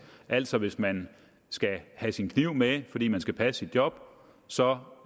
altså hvis man skal have sin kniv med fordi man skal passe sit job så